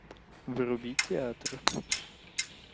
вруби театр